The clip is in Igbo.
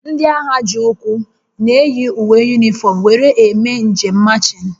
Ndị agha ji ụkwụ na-eyi uwe yunifọm were eme njem machịn